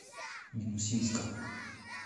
минусинска